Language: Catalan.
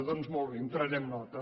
doncs molt bé en prenem nota